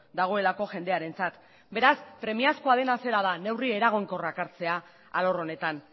dagoelako jendearentzat beraz premiazkoa dena zera da neurri eraginkorrak hartzea alor honetan